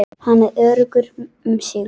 Hann er öruggur um sigur.